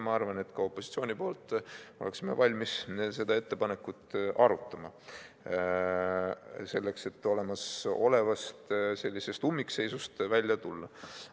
Ma arvan, et me opositsioonis oleksime valmis seda ettepanekut arutama, selleks et sellisest ummikseisust välja tulla.